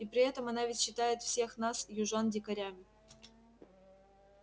и при этом она ведь считает всех нас южан дикарями